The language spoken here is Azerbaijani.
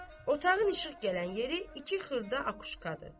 Otağın işıq gələn yeri iki xırda akuşkadır.